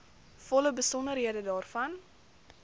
volle besonderhede daarvan